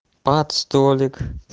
под столик